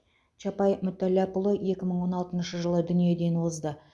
чапай мүтәллапұлы екі мың он алтыншы жылы дүниеден озды